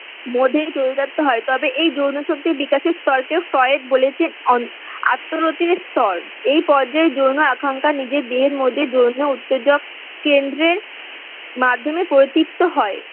মধ্যে যৌনাত্ব হয় তবে এই যৌন শক্তির বিকাশের স্তরকে ফ্রয়েড বলেছেন অন আত্মনতির স্তর এই পর্যায় যৌন আকাঙ্ক্ষা নিজের দেহের মধ্যে যৌন উত্তেজক কেন্দ্রের মাধ্যমে প্রতিত্ব হয়।